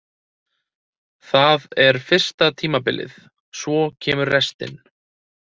Það er fyrsta tímabilið, svo kemur restin.